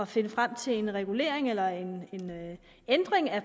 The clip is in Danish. finde frem til en regulering eller en ændring af